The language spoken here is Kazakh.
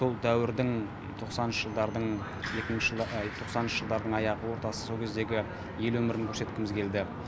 сол дәуірдің тоқсаныншы жылдардың екінші ай тоқсаныншы жылдардың аяғы ортасы сол кездегі ел өмірін көрсеткіміз келді